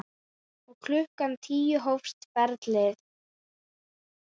Og klukkan tíu hófst ferðin.